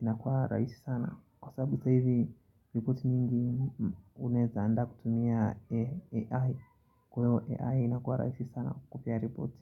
inakuwa rahisi sana. Kwa sababu saa hivi ripoti mingi unaeza andaa kutumia AI. Kwa hiyo AI inakua rahisi sana kukupea ripoti.